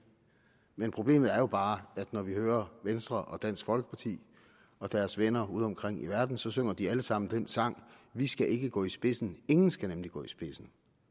men problemet er bare når vi hører venstre og dansk folkeparti og deres venner udeomkring i verden så synger de alle sammen den sang der vi skal ikke gå i spidsen ingen skal nemlig gå i spidsen